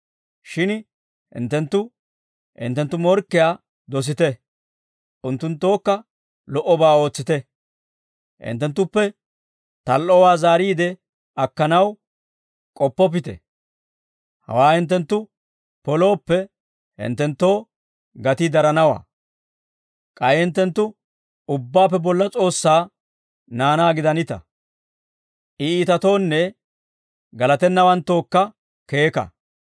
Shin hinttenttu, hinttenttu morkkiyaa dosite; unttunttookka lo"obaa ootsite; hinttenttuppe tal"owaa zaariid akkanaw k'oppoppite. Hawaa hinttenttu polooppe hinttenttoo gatii daranawaa. K'ay hinttenttu Ubbaappe Bolla S'oossaa naanaa gidanita. I iitatoonne galatennawanttookka keeka.